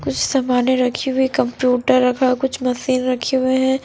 कुछ समाने रखी हुई है कंप्यूटर रखा है कुछ मशीन रखे हुए है।